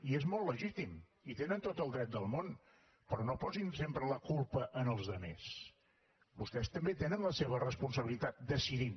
i és molt legítim hi tenen tot el dret del món però no posin sempre la culpa als altres vostès també tenen la seva responsabilitat decidint